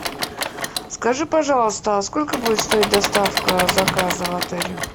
скажи пожалуйста а сколько будет стоить доставка заказа в отеле